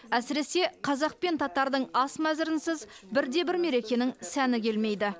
әсіресе қазақ пен татардың ас мәзірінсіз бір де бір мерекенің сәні келмейді